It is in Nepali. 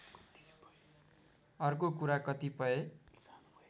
अर्को कुरा कतिपय